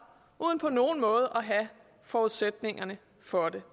uden på nogen måde har forudsætningerne for det